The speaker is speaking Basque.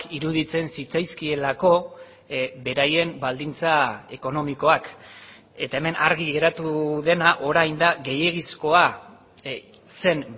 iruditzen zitzaizkielako beraien baldintza ekonomikoak eta hemen argi geratu dena orain da gehiegizkoa zen